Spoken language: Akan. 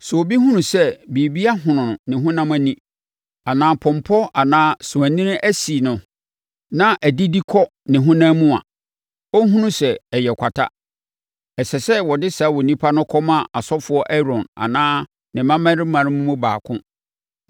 “Sɛ obi hunu sɛ biribi ahono ne honam ani, anaa pɔmpɔ anaa sowanini asi no na adidi kɔ ne honam mu a, ɔnhunu sɛ ɛyɛ kwata. Ɛsɛ sɛ wɔde saa onipa no kɔma ɔsɔfoɔ Aaron anaa ne mmammarima no mu baako